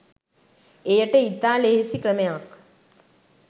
එයට ඉතා ලෙහෙසි ක්‍රමයක්